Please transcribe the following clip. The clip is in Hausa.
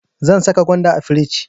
Zan saka gwanda a firij.